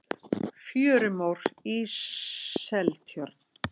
fjörumór í seltjörn